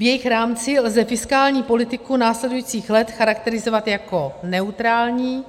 V jejich rámci lze fiskální politiku následujících let charakterizovat jako neutrální